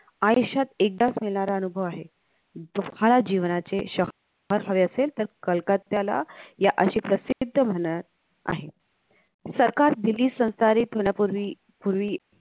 आयुष्यात एकदाच येणार अनुभव आहे जो फळा जीवनाचे श हवे असेल त कलकत्याला या अशे प्रसिद्ध म्हणत आहेत सरकार दिल्लीत संसारीत होण्यापूर्वी